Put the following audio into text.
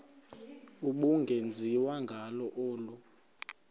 ubungenziwa ngalo olu